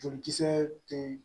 Jolikisɛ te